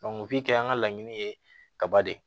kɛ an ka laɲini ye kaba de ye